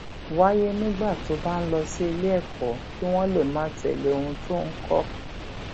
wáyé nígbà tó bá ń lọ sí iléèkó kí wón lè máa tèlé ohun tó ń kó